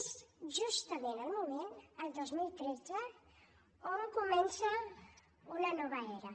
és justament el moment el dos mil tretze on comença una nova era